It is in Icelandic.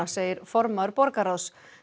segir formaður borgarráðs